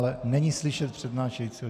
Ale není slyšet přednášejícího.